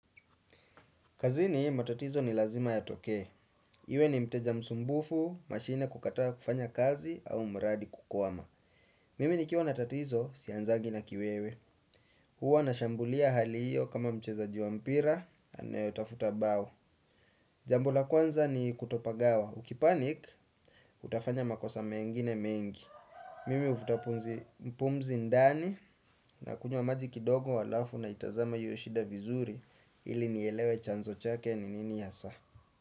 Kazini matatizo ni lazima yatokee. Iwe ni mteja msumbufu, mashine kukataa kufanya kazi au mradi kukwama. Mimi nikiwa na tatizo sianzagi na kiwewe. Huwa nashambulia hali hiyo kama mchezaji wa mpira anayetafuta bao. Jambo la kwanza ni kutopagawa. Ukipanic, utafanya makosa mengine mengi. Mimi huvuta pumzi ndani nakunywa maji kidogo halafu naitazama hiyo shida vizuri ili nielewe chanzo chake ni nini hasa.